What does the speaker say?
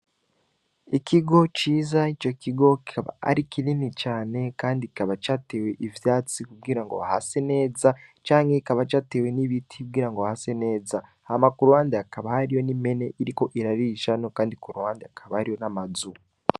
Ikigo ciza ni co kigokaba ari kinini cane, kandi ikaba catewe ivyatsi kubgira ngo bahase neza canke kikaba catewe n'ibiti kubira ngo bahase neza hama ku ruhandi akaba hariyo n'imene iriko irarire isano, kandi ku ruhandi akaba ariyo n'amazuu.